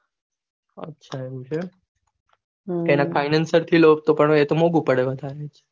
આછા આવું છે તેના financier થી લ્યો તો મોંઘુ પડે